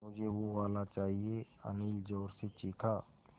मझे वो वाला चाहिए अनिल ज़ोर से चीख़ा